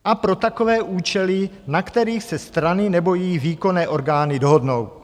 A pro takové účely, na kterých se strany nebo jejich výkonné orgány dohodnou.